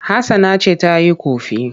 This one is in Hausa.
Hassana ce ta yi ƙofi.